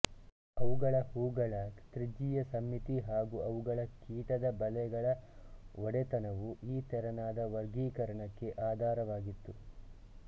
ಅವುಗಳ ಹೂವುಗಳ ತ್ರಿಜ್ಯೀಯ ಸಮ್ಮಿತಿ ಹಾಗೂ ಅವುಗಳ ಕೀಟದ ಬಲೆಗಳ ಒಡೆತನವು ಈ ತೆರನಾದ ವರ್ಗೀಕರಣಕ್ಕೆ ಆಧಾರವಾಗಿತ್ತು